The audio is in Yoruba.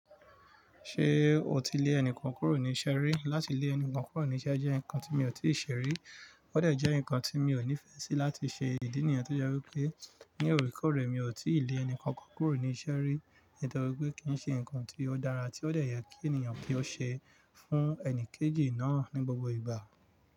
Ṣé o ti lé ẹnìkan kúrò ní iṣẹ́ rí? Láti lé ẹnìkan kúrò níṣẹ́ jẹ́ nǹkan tí mi ò tí ì ṣe rí, ó de jẹ́ nǹkan tí mi ò nífẹ̀ẹ́ sí láti ṣe. Ìdí nìyẹn tó jẹ́ wípé ní òrekoore mi ò tí ì lé ẹnìkankan kúrò ní iṣẹ́ rí, nítorí pé kì n ṣe nǹkan tí ó dára tí ó de ye kí ènìyàn kí ó ṣe fún ẹni kejì náà ní gbogbo ìgbà.